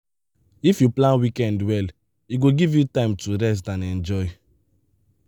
if you plan weekend well e go give you time to rest and enjoy.